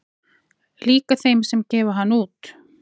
Líka þeim sem gefa hann út